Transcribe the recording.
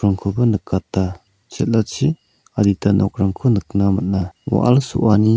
nikata chel·achi adita nokrangko nikna man·a wa·al so·ani--